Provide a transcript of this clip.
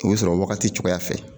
O bɛ sɔrɔ wagati cogoya fɛ